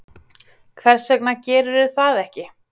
Hvers vegna gerirðu það ekki?